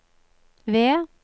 V